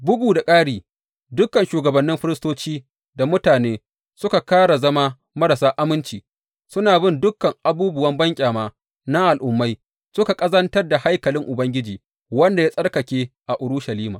Bugu da ƙari, dukan shugabannin firistoci da mutane suka ƙara zama marasa aminci, suna bin dukan abubuwan banƙyama na al’ummai, suka ƙazantar da haikalin Ubangiji, wanda ya tsarkake a Urushalima.